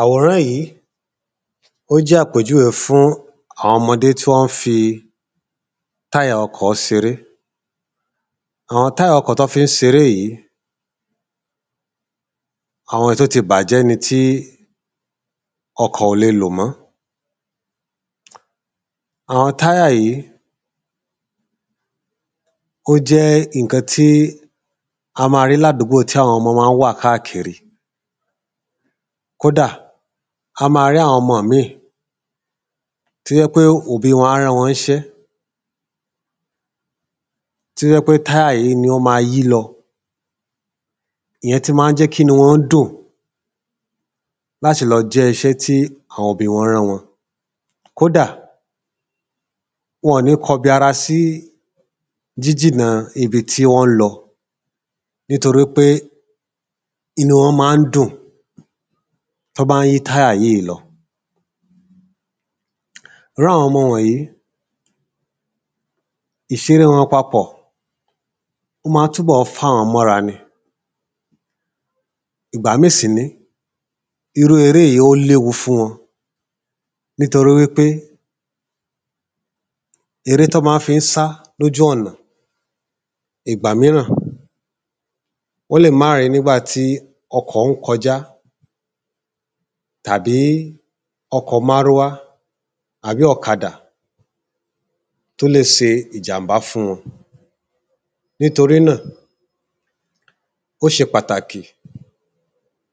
Àwòrán yí, ó jẹ́ àpèjúwé fún àwọn ọmọdé tí wọ́n táyà ọkọ̀ s'eré. Àwọn táyà ọkọ̀ t'ọ́ fí ń s'eré yí, Àwọn táyà ọkọ̀ t'ọ́ fí ń s'eré yí, àwọn èé t'ó ti bàjẹ́ ni tí ọkọ̀ ò le lò mọ́ Àwọn táyà yìí, ó jẹ́ ìnkan tí a ma rí l'ádúgbò tí àwọn ọmọ má ń wà káàkiri. Kódà, a ma rí àwọn ọmọ míì t’ó jẹ́ pé òbí wọn a rán wọn ń ṣẹ́ t’ó jẹ́ pé táyà yìí ni ó ma yí lọ. Ìyẹn tí má ń jẹ́ k'ínú wọn dùn l'áti lọ jẹ́ iṣẹ́ tí àwọn obì wọ́n rán wọn Kódà, wọ̀n ni kọbi ara sí jíjínà ibi tí wọ́n ń lọ nítorí pé inú wọn má ń dùn t’ọ́ bá ń yí táyà yìí lọ Irú àwọn ọmọ wọ̀nyí, ìṣeré wọn papọ̀, o má ń túbọ̀ f'áwọ́n mọ́ 'ra ni. Ìgbà míì sì nìí, irú eré yí ó l’éwu fún wọn nítorí wí pé, eré t'ọ́ má ń fí ń sá l'ójú ọ̀nà ìgbà míràn wọ́n lè má r'ẹ́ní ba ti ọkọ̀ ń kọjá tàbí ọkọ̀ márúwá àbí ọ̀kada t’ó lè se ìjàmbá fún wọn Nítorí náà, ó ṣe pàtàkì,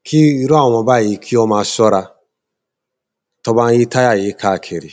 kí irú àwọn ọmọ báyí kí ọ́ ma s’ọ́ra T’ó bá ń yí táyà yí káàkiri